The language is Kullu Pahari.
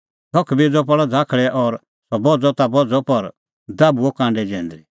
धख बेज़अ पल़अ झ़ाकल़ै और सह बझ़अ ता बझ़अ पर दाभूअ कांडै जैंदरी